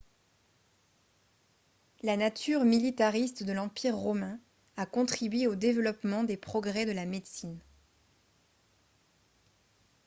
la nature militariste de l'empire romain a contribué au développement des progrès de la médecine